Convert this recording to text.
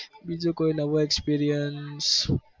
બીજું કોઈ નવો experience